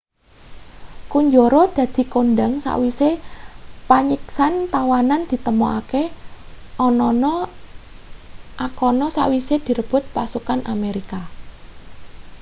kunjara dadi kondhang sawise panyiksan tawanan ditemokake anana akana sawise direbut pasukan amerika